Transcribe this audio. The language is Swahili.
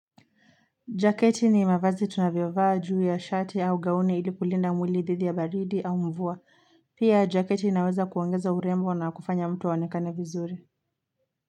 Jaketi ni mavazi tunavyovaa juu ya shati au gauni ili kulinda mwili dhidi ya baridi au mvua pia jaketi inaweza kuongeza urembo na kufanya mtu aonekane vizuri.